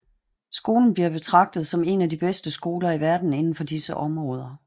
Skolen bliver betragtet som en af de bedste skoler i verden inden for disse områder